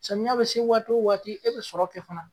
Samiya bɛ se waati o waati e bɛ sɔrɔ kɛ fana.